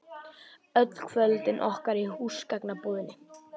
Öll kvöldin okkar í húsgagnabúðinni.